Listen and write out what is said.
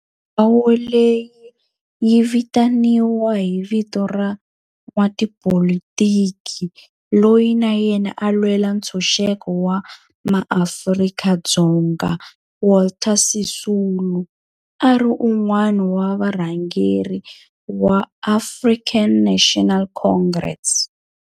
Ndhawo leyi yi vitaniwa hi vito ra n'watipolitiki loyi na yena a lwela ntshuxeko wa maAfrika-Dzonga Walter Sisulu, a ri wun'wana wa varhangeri va African National Congress, ANC.